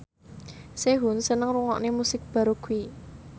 Sehun seneng ngrungokne musik baroque